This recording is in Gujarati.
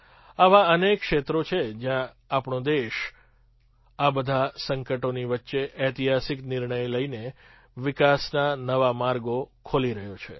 આવાં અનેક ક્ષેત્રો છે જ્યાં આપણો દેશઆ બધાં સંકટોની વચ્ચે ઐતિહાસિક નિર્ણય લઈને વિકાસના નવા માર્ગો ખોલી રહ્યો છે